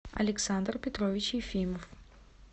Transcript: александр петрович ефимов